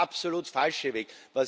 Das wäre der absolut falsche Weg.